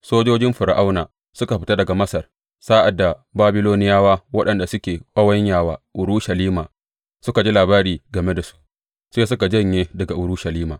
Sojojin Fir’auna suka fita daga Masar, sa’ad da Babiloniyawa waɗanda suke ƙawanya wa Urushalima suka ji labari game da su, sai suka janye daga Urushalima.